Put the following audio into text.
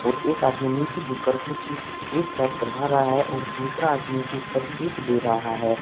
और एक आदमी नीचे झुक कर कुछ केक पैक करवा रहा है और दूसरा आदमी झुक कर केक दे रहा है।